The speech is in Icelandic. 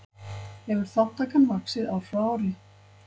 Hefur þátttakan vaxið ár frá ári